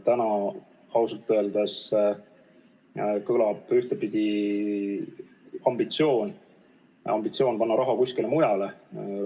Täna ausalt öeldes kõlab ambitsioon panna raha kuskile mujale.